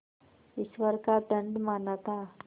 ईश्वर का दंड माना था